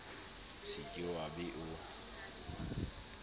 se ke wa be o